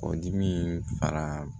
Kɔdimi fara